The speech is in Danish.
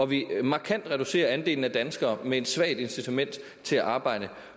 vi markant reducerer andelen af danskere med et svagt incitament til at arbejde